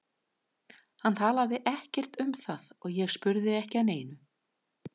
Hann talaði ekkert um það og ég spurði ekki að neinu.